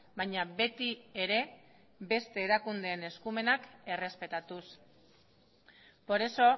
baina beti ere beste erakundeen eskumenak errespetatuz por eso